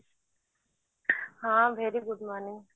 ହଁ very good morning